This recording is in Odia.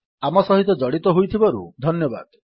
ଆମ ସହିତ ଜଡ଼ିତ ହୋଇଥିବାରୁ ଧନ୍ୟବାଦ